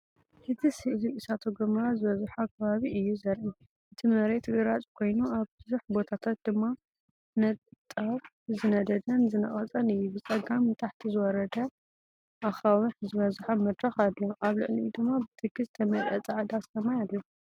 እቲ ስእሊ እሳተ ጎመራ ዝበዝሖ ከባቢ እዩ ዘርኢ። እቲ መሬት ግራጭ ኮይኑ ኣብ ብዙሕ ቦታታት ድማ ንጣብ ዝነደደን ዝነቐጸን እዩ። ብጸጋም ንታሕቲ ዝወረደ ኣኻውሕ ዝበዝሖ መድረኽ ኣሎ። ኣብ ልዕሊኡ ድማ ብትኪ ዝተመልአ ጻዕዳ ሰማይ ኣሎ።